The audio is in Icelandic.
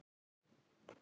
Það tístir í Eddu.